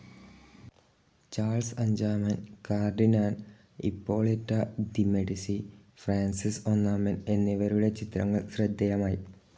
Charles അഞ്ചാമൻ, cardinal Ippolito de Medici, Francis ഒന്നാമൻ എന്നിവരുടെ ചിത്രങ്ങൾ ശ്രദ്ധേയമായി.